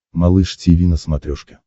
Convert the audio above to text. малыш тиви на смотрешке